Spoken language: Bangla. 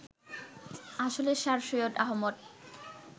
আসলে স্যার সৈয়দ আহমদ